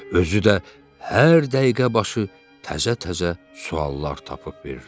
Özü də hər dəqiqəbaşı təzə-təzə suallar tapıb verirdi.